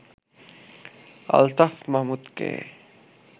Altaf মাহমুদকে